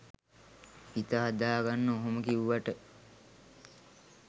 හිත හදාගන්න ඔහොම කිව්වට